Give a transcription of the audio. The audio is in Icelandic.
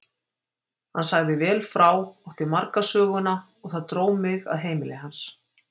Hann sagði vel frá, átti marga söguna og það dró mig að heimili hans.